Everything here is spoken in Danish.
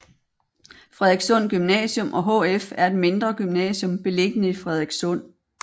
Frederikssund Gymnasium og HF er et mindre gymnasium beliggende i Frederikssund